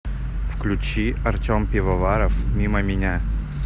включи артем пивоваров мимо меня